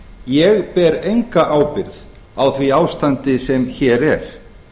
ég ber enga ábyrgð á því ástandi sem hér er